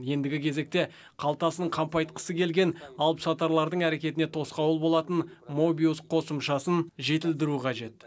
ендігі кезекте қалтасын қампайтқысы келген алыпсатарлардың әрекетіне тосқауыл болатын мобиус қосымшасын жетілдіру қажет